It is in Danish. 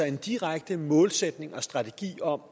en direkte målsætning og strategi om